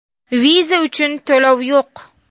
Viza uchun to‘lov yo‘q.